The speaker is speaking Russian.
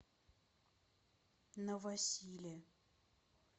новосиле